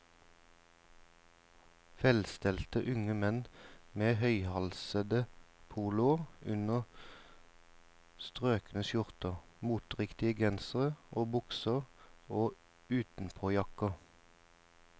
Velstelte unge menn med høyhalsede poloer under strøkne skjorter, moteriktige gensere og bukser og utenpåjakker.